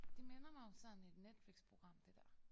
Det minder mig om sådan et Netflixprogram det der